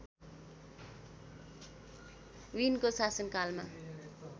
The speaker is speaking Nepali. विनको शासनकालमा